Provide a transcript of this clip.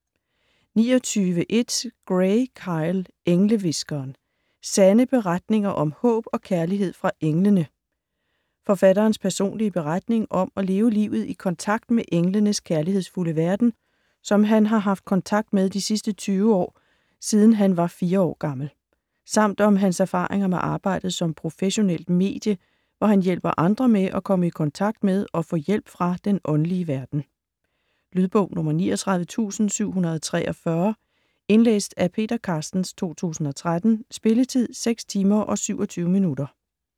29.1 Gray, Kyle: Englehviskeren: sande beretninger om håb og kærlighed fra englene Forfatterens personlige beretning om at leve livet i kontakt med englenes kærlighedsfulde verden, som han har haft kontakt med de sidste 20 år siden han var 4 år gammel. Samt om hans erfaringer med arbejdet som professionelt medie, hvor han hjælper andre med at komme i kontakt med og få hjælp fra den åndelige verden. Lydbog 39743 Indlæst af Peter Carstens, 2013. Spilletid: 6 timer, 27 minutter.